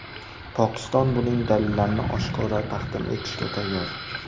Pokiston buning dalillarini oshkora taqdim etishga tayyor.